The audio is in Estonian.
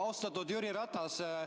Austatud Jüri Ratas!